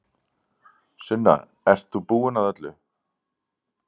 Sunna, ert þú búin að öllu?